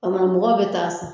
A kuma mɔgɔw be taa san